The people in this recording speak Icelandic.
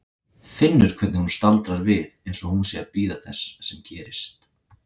Finnur hvernig hún staldrar við einsog hún sé að bíða þess sem gerist.